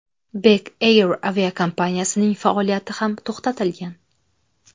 Bek Air aviakompaniyasining faoliyati ham to‘xtatilgan .